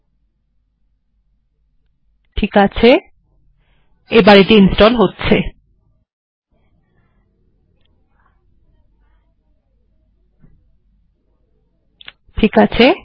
ঠিকআছে এটি ইনস্টল্ হচ্ছে